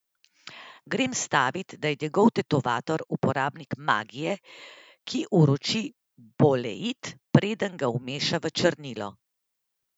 Grem stavit, da je njegov tetovator uporabnik magije, ki uroči boleit, preden ga vmeša v črnilo.